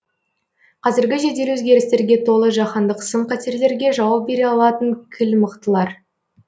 қазіргі жедел өзгерістерге толы жаһандық сын қатерлерге жауап бере алатын кіл мықтылар